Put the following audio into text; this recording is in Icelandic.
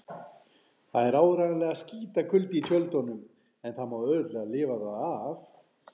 Það er áreiðanlega skítakuldi í tjöldunum en það má auðveldlega lifa það af.